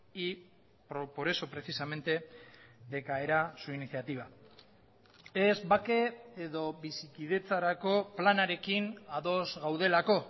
y por eso precisamente decaerá su iniciativa ez bake edo bizikidetzarako planarekin ados gaudelako